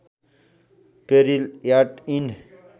peril at end